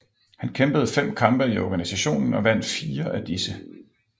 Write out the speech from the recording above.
Han kæmpede fem kampe i organisationen og vandt firer af disse